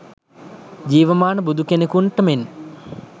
ජීවමාන බුදු කෙනෙකුන්ට මෙන්